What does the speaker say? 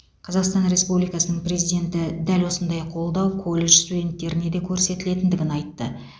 қазақстан республикасының президенті дәл осындай қолдау колледж студенттеріне де көрсетілетіндігін айтты